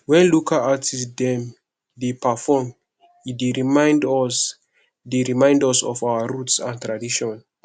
wen local artist dem dey perform e dey remind us dey remind us of our roots and tradition